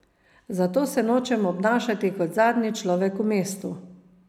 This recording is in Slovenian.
Zato se nočem obnašati kot zadnji človek v mestu.